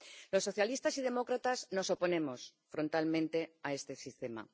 Los socialistas y demócratas nos oponemos frontalmente a este sistema.